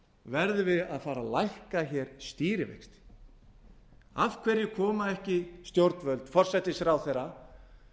við að fara að lækka stýrivexti af hverju koma ekki stjórnvöld forsætisráðherra